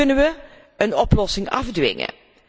Hoe kunnen we een oplossing afdwingen?